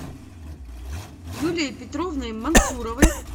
юлией петровной мансуровой